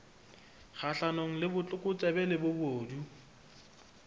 kgahlanong le botlokotsebe le bobodu